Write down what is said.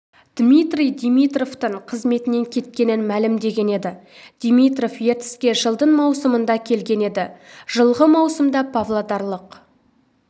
дмитрий димитровтың қызметінен кеткенін мәлімдеген еді димитров ертіске жылдың маусымында келген еді жылғы маусымда павлодарлық